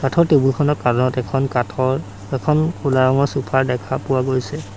কাঠৰ টেবুল খনৰ কানত এখন কাঠৰ এখন কোলা ৰঙৰ চোফাৰ দেখা পোৱা গৈছে।